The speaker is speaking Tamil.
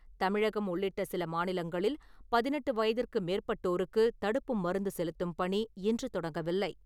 தமிழகம் உள்ளிட்ட சில மாநிலங்களில் பதினெட்டு வயதிற்கு மேற்பட்டோருக்கு தடுப்பு மருந்து செலுத்தும் பணி இன்று தொடங்கவில்லை.